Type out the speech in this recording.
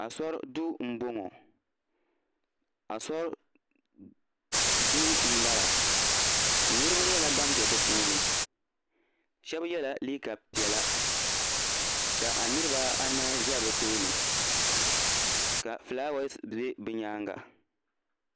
asɔri do na bɔŋɔ asɔri do n bala niriba nyɛla ban bɛ di puuni shɛniyɛla liga piɛlla ka niribaanahi ʒɛ be tuuni ka ƒɔlawasu bɛ be nyɛŋa